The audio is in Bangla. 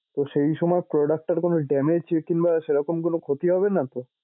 তো সেই সময় product টার কোনো damage কিংবা সেরকম কোন ক্ষতি হবে নাতো?